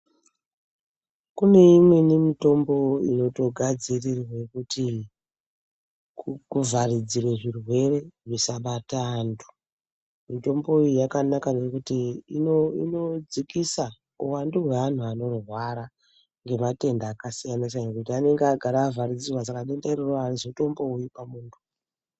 Kune imweni mitombo inotogadzirirwa kuti kuvharidzire zvirwere zvisabata antu. Mitombo iyi yakanaka ngekuti inodzikisa uwandu hweantu anorwara ngematenda akasiyana-siyana ngekuti anenge agara avharidzirwa saka denda iri harizotombouyi pamuntu.